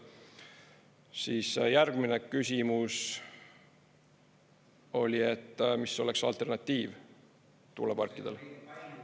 Siis järgmine küsimus oli, et mis oleks alternatiiv tuuleparkidele.